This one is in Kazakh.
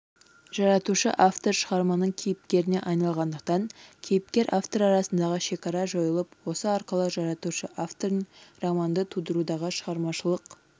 жаратушы-автор шығарманың кейіпкеріне айналғандықтан кейіпкер автор арасындағы шекара жойылып осы арқылы жаратушы-автордың романды тудырудағы шығармашылық